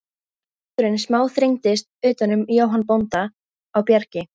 En hringurinn smá þrengdist utan um Jóhann bónda á Bjargi.